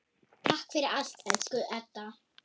Takk fyrir allt, elsku Edda.